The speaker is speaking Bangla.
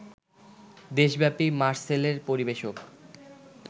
দেশব্যাপী মারসেলের পরিবেশক